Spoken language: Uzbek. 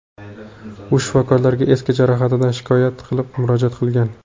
U shifokorlarga eski jarohatidan shikoyat qilib, murojaat qilgan.